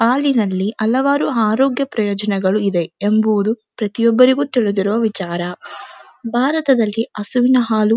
ಹಾಲಿನಲ್ಲಿ ಹಲವಾರು ಆರೋಗ್ಯ ಪ್ರಯೋಜನಗಳು ಇವೆ ಎಂಬುವುದು ಪ್ರತಿಯೊಬ್ಬರಿಗು ತಿಳಿದಿರುವ ವಿಚಾರ ಬಾರತದಲ್ಲಿ ಹಸುವಿನ ಹಾಲು --